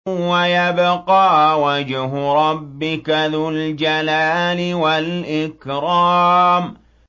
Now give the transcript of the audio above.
وَيَبْقَىٰ وَجْهُ رَبِّكَ ذُو الْجَلَالِ وَالْإِكْرَامِ